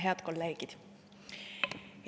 Head kolleegid!